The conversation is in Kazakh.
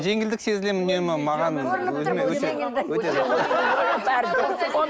жеңілдік сезінемін үнемі мен маған өзіме